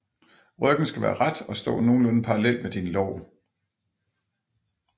Ryggen skal være ret og stå nogenlunde parallelt med dine lår